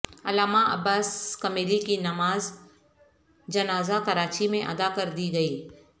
علامہ عباس کمیلی کی نماز جنازہ کراچی میں ادا کردی گئی